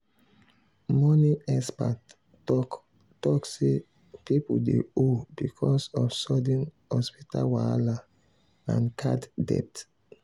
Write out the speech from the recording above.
money expert talk talk say people dey owe because of sudden hospital wahala and card debt.